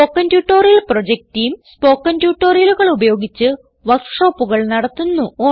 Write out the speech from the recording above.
spoken tutorial project team spoken ട്യൂട്ടോറിയലുകൾ ഉപയോഗിച്ച് വർക്ക് ഷോപ്പുകൾ നടത്തുന്നു